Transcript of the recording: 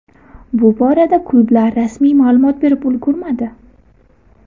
Bu borada klublar rasmiy ma’lumot berib ulgurmadi.